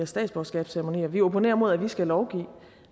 statsborgerskabsceremonier vi opponerer imod at vi skal lovgive